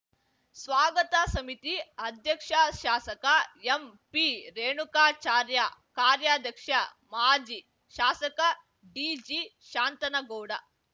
ಸ್ವಾಗತ ಸಮಿತಿ ಅಧ್ಯಕ್ಷ ಶಾಸಕ ಎಂಪಿರೇಣುಕಾಚಾರ್ಯ ಕಾರ್ಯಾಧ್ಯಕ್ಷ ಮಾಜಿ ಶಾಸಕ ಡಿಜಿಶಾಂತನಗೌಡ